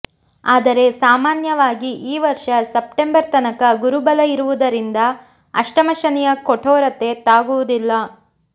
ಆದರೆ ಸಾಮಾನ್ಯವಾಗಿ ಈ ವರ್ಷ ಸೆಪ್ಟೆಂಬರ್ ತನಕ ಗುರು ಬಲ ಇರುವುದರಿಂದ ಅಷ್ಟಮ ಶನಿಯ ಕಠೋರತೆ ತಾಗುವುದಿಲ್ಲ